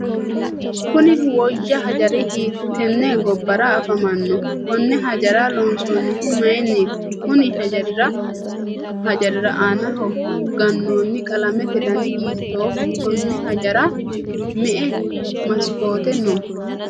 kuni woyya hijaari hiittenne gobbara afamanno? konne hijaara loonsoonnihu mayiinniiti? konni hijaari aana gannoonni qalamete dani hiittooho? konni hijaarira me'e masikoote no?